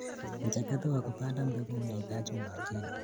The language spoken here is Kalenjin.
Mchakato wa kupanda mbegu unahitaji umakini.